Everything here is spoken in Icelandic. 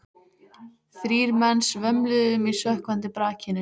Þrír menn svömluðu um í sökkvandi brakinu.